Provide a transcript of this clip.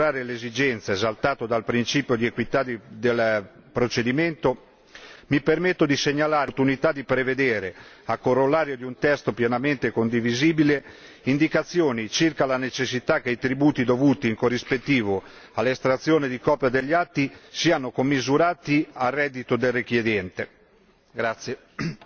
Nella prospettiva di assicurare tale esigenza ed esaltato dal principio di equità del procedimento, mi permetto di segnalare l'opportunità di prevedere, a corollario di un testo pienamente condivisibile, indicazioni circa la necessità che i tributi dovuti in corrispettivo all'estrazione di copia degli atti siano commisurati al reddito del richiedente.